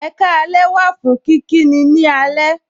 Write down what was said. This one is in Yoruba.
Ekaalẹ wà fún kíkí ni ní alẹ.